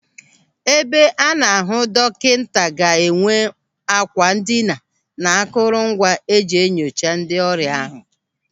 Ebe a na-ahụ dọkịta ga-enwe àkwà ndina na akụrụ ngwa e ji enyocha ndị ọrịa ahụ.